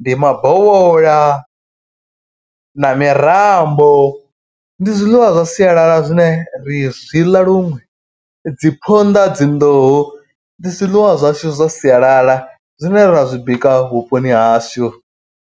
ndi mabovhola na mirambo. Ndi zwiḽiwa zwa sialala zwine ri zwi ḽa luṅwe. Dzi phonḓa dzi nḓuhu ndi zwiḽiwa zwashu zwa sialala zwine ra zwi bika vhuponi hashu.